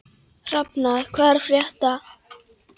Hrafnar, hvað er að frétta?